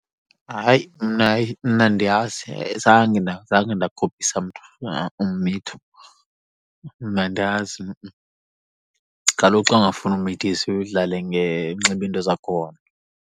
Hayi, mna hayi, mna andiyazi. Zange zange ndakopisa mntu na ummitho. Mna andazi kaloku xa ungafuni umithiswa udlale unxibe into zakhona.